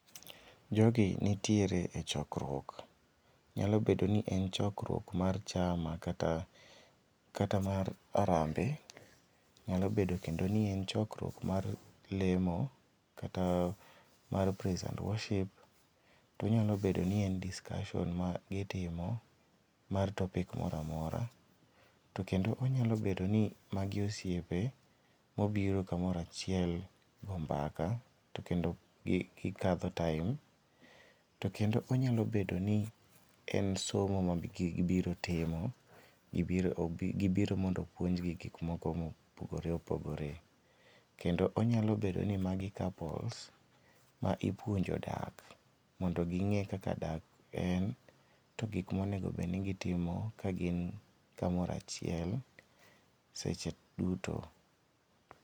Jogi nitiere e chokruok nyalo bedo ni en chokruok mar chama kata mar arambe, nyalo bedo kendo ni en chokruok mar lemo kata mar praise and worship, tonyalo bedo ni en discussion magitimo mar topic mora mora, to kendo onyalo bedo ni magi osiepe mobiro kamoro achiel go mbaka to kendo gikadho time to kendo onyalo bedo ni en somo ma gibiro timo, gibiro mondo oupnjgi gikmoko mopogore opogore, kendo onyalo bedo ni magi couples ma ipuonjo dak mondo ging'e kaka dak en ,to gik monego bed ni gitimo ka gin kamoro achiel seche duto.